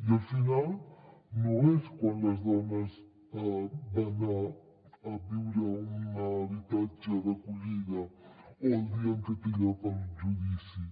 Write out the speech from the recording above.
i el final no és quan les dones van anar a viure a un habitatge d’acollida o el dia en què té lloc el judici